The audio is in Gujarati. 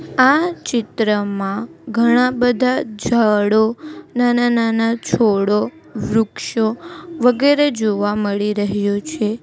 આ ચિત્રમાં ઘણા બધા ઝાડો નાના-નાના છોડો વૃક્ષો વગેરે જોવા મળી રહ્યુ છે.